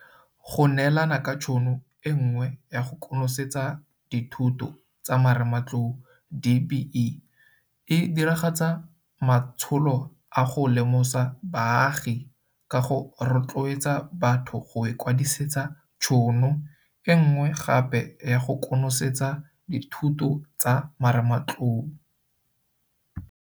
Go neelana ka tšhono e nngwe ya go konosetsa dithuto tsa marematlou DBE e diragatsa matsholo a go lemosa baagi ka go rotloetsa batho go ikwadisetsa tšhono e nngwe gape ya go konosetsa dithuto tsa marematlou.